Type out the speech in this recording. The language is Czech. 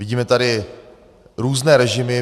Vidíme tady různé režimy.